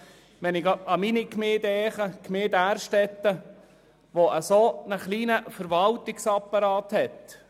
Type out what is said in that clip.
Ich denke gerade an meine Gemeinde, die Gemeinde Därstetten, die einen sehr kleinen Verwaltungsapparat hat.